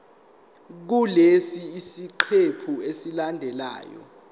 kulesi siqephu esilandelayo